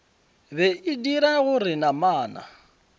be e dira gore namana